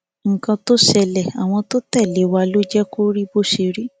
nǹkan tó ń ṣẹlẹ àwọn tó ń tẹlé wa ló jẹ kó rí bó ṣe rí